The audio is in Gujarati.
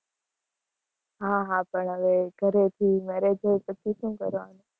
હા હા, પણ હવે ઘરેથી marriage હોય પછી શું કરવાનું?